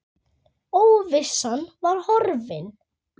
Óvissan var horfin.